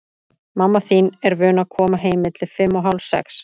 Mamma þín er vön að koma heim milli fimm og hálf sex.